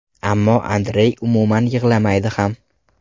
Ammo Andrey umuman yig‘lamaydi ham.